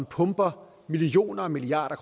pumper millioner og milliarder